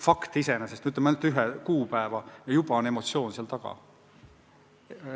Fakt iseenesest, ainult üks kuupäev, aga juba on mängus emotsioon.